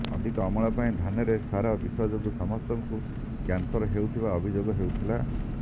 ଅଧିକ ଅମଳ ପାଇଁ ଧାନରେ ସାର ବିଷ ଯୋଗୁଁ ସମସ୍ତଙ୍କୁ କ୍ୟାନସର ହେଉଥିବା ଅଭିଯୋଗ ହେଉଥିଲା